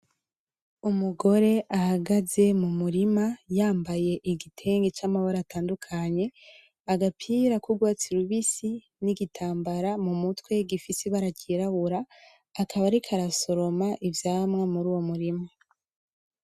Umugore ahagaze mu murima yambaye igitenge camabara atandukanye agapira ku rwatsi rubisi ni gitambara mu mutwe gifise ibara ryirabura akaba ariko arasoroma ivyamwa muri uwo murima.